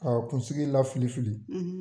Kaa kunsigi lafili fili